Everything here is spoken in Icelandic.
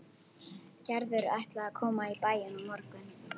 Gerður ætlaði að koma í bæinn á morgun.